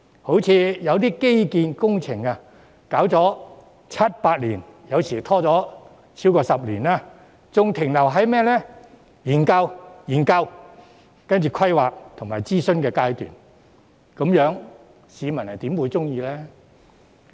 例如，有些基建工程拖延了七八年，有時甚至超過10年，還是停留在研究、規劃和諮詢階段，這樣市民又怎會滿意呢？